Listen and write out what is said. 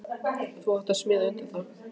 Þú átt að smíða undir það.